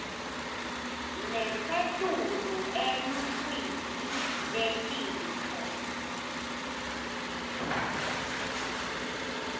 lesetulu eluhlwini lwetintfo